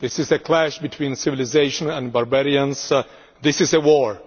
This is a clash between civilisation and barbarians. This is a war.